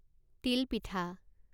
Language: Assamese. তিল পিঠা